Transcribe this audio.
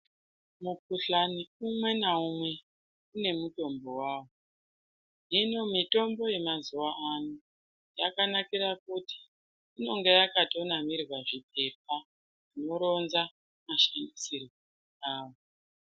Mukhuhalni umwe naumwe une mutombo wawo hino mitombo yemazuva ano yakanakira kuti inonga yakatonamirwa zvipepa zvinoronza mashandisirwo awo.